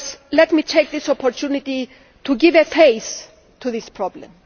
Let me take this opportunity to give a face to this problem.